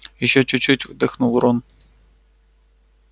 ещё чуть-чуть вдохнул рон